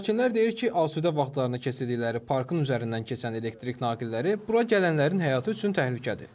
Sakinlər deyir ki, asudə vaxtlarını keçirdikləri parkın üzərindən keçən elektrik naqilləri bura gələnlərin həyatı üçün təhlükədir.